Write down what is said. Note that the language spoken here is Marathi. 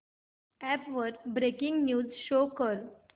अॅप वर ब्रेकिंग न्यूज शो कर